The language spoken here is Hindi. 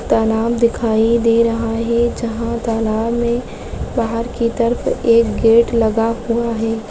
तालाब दिखाई दे रहा है जहां तालाब में बाहर की तरफ एक गेट लगा हुआ है।